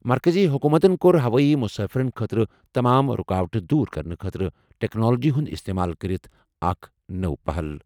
مرکٔزی حکوٗمتَن کوٚر ہوٲیی مُسافِرن خٲطرٕ تمام رُکاوٹہٕ دور کرنہٕ خٲطرٕ ٹیکنالوجی ہُنٛد استعمال کٔرِتھ اکھ نوٚو پہل۔